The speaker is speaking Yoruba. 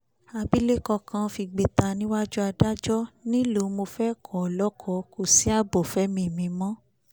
àbílẹ̀kọ kan fìgbẹ̀ta níwájú adájọ́ ńìlò mo fẹ́ kó o lọ́kọ kò sí ààbò fẹ́mìí mi mọ́